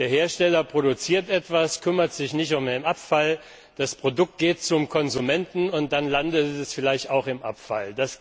Der Hersteller produziert etwas, kümmert sich nicht um den Abfall, das Produkt geht zum Konsumenten, und dann landet es vielleicht auch im Abfall.